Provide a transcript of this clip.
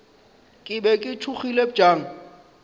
ke be ke tšhogile bjang